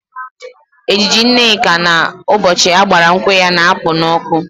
Ejiji Nneka n'ụbọchị a gbara nkwụ ya na-apụ nnọọ ọkụ